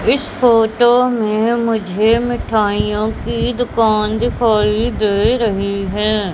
इस फोटो में मुझे मिठाइयों कि दुकान दिखाई दे रही है।